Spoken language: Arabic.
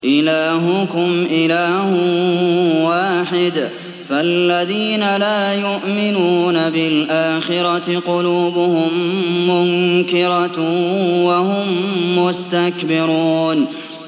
إِلَٰهُكُمْ إِلَٰهٌ وَاحِدٌ ۚ فَالَّذِينَ لَا يُؤْمِنُونَ بِالْآخِرَةِ قُلُوبُهُم مُّنكِرَةٌ وَهُم مُّسْتَكْبِرُونَ